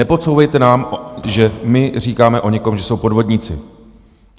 Nepodsouvejte nám, že my říkáme o někom, že jsou podvodníci.